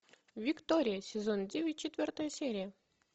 виктория сезон девять четвертая серия